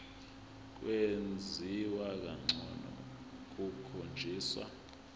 kwenziwa ngcono kukhonjiswa